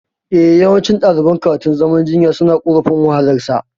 Eh, yawanci ɗaliban karatun zama injiniya suna korafin wahalar sa